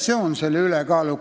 See on selle "ülekaaluka" tähendus.